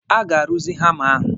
A ga-aruzi hama ahụ.